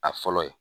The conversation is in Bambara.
A fɔlɔ ye